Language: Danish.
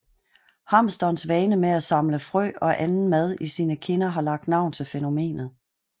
Hamsterens vane med at samle frø og anden mat i sine kinder har lagt navn til fænomenet